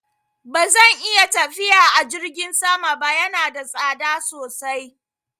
Ba zan iya tafiya a jirgin sama ba, yana da tsada sosai.